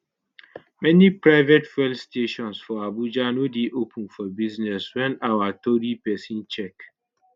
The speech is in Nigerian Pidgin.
many private fuel stations for abuja no dey open for business wen our tori pesin check